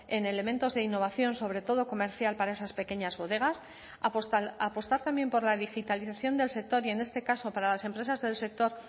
en elementos de innovación sobre todo comercial para esas pequeñas bodegas apostar también por la digitalización del sector y en este caso para las empresas del sector